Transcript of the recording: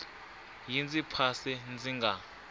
yi ndzi phasa ndzi nga